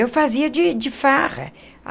Eu fazia de de farra.